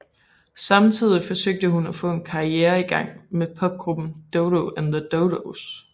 Samtidig forsøgte hun at få en karriere i gang med popgruppen Dodo and the Dodos